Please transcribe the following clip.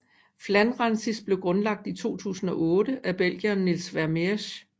Flandrensis blev grundlagt i 2008 af belgieren Niels Vermeersch